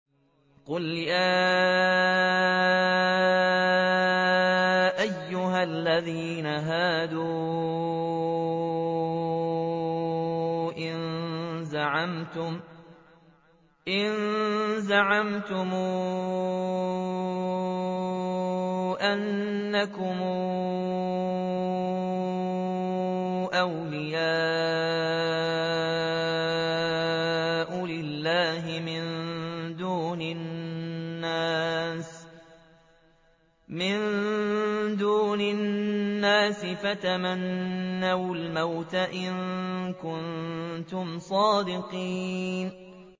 قُلْ يَا أَيُّهَا الَّذِينَ هَادُوا إِن زَعَمْتُمْ أَنَّكُمْ أَوْلِيَاءُ لِلَّهِ مِن دُونِ النَّاسِ فَتَمَنَّوُا الْمَوْتَ إِن كُنتُمْ صَادِقِينَ